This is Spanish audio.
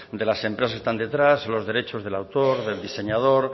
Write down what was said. de las empresas que están detrás los derechos del autor del diseñador